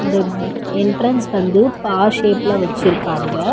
இதன் என்ட்ரன்ஸ் வந்து பா ஷேப்ல வெச்சிருக்காங்க.